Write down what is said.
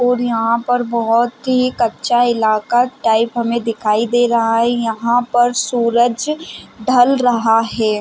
और यहाँ पर बहुत ही कच्चा इलाका टाइप हमें दिखाई दे रहा है यहाँ पर सूरज ढल रहा हैं |